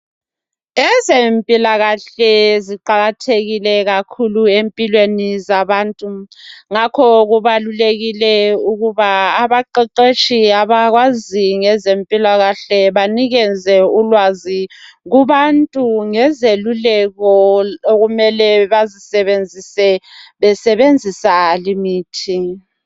Ezempilakahle ziqakathekile kakhulu empilweni zabantu ngakho kubalulekile ukuba abaqeqetshi abazi ngezempilakahle banikeze ulwazi kubantu ngezeluleko okumele bazizebenzise besebenzisa imithi